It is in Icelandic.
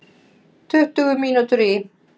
Tuttugu mínútur í